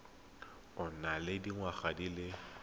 o nang le dingwaga di